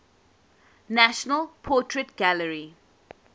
national portrait gallery